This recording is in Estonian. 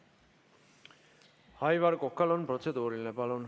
Aivar Kokal on protseduuriline küsimus.